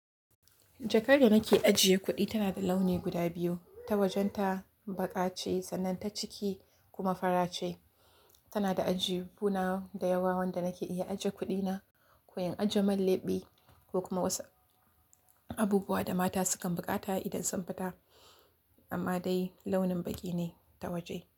Jakar da nake ajiye kuɗi tana da launi guda biyu, ta wajen ta baƙa ce sannan ta ciki kuma fara ce. Tana da ajihuna da yawa wanda nake iya ajiye kuɗina ko in ajiye man leɓe ko kuma wasu abubuwa da mata sukan buƙata idan sun fita. Amma dai launin baƙi ne ta waje.